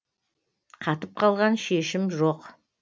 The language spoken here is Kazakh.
қатып қалған шешім жоқ